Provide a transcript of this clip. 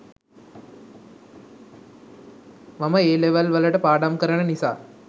මම A level වලට පාඩම් කරන නිසා